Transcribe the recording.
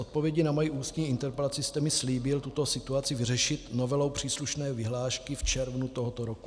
Odpovědí na moji ústní interpelaci jste mi slíbil tuto situaci vyřešit novelou příslušné vyhlášky v červnu tohoto roku.